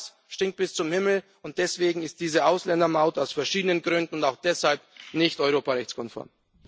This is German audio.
All das stinkt bis zum Himmel, und deswegen ist diese Ausländermaut aus verschiedenen Gründen und auch deshalb nicht europarechtskonform.